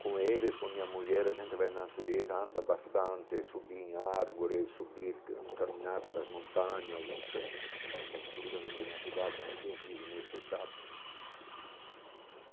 Com eles, com minha mulher, a gente vai na natureza, anda bastante, subi em árvores, subir caminhar pelas montanhas, isso é absolutamente natural, tanto que eu fiz o meu check-up.